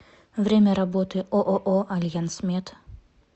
время работы ооо альянсмед